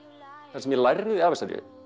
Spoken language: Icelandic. það sem ég lærði af þessari